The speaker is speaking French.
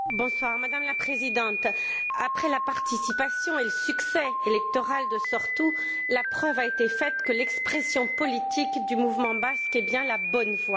Madame la Présidente, après la participation et le succès électoral de Sortu, la preuve a été faite que l'expression politique du mouvement basque est bien la bonne voie.